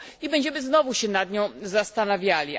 i będziemy znowu się nad nią zastanawiali.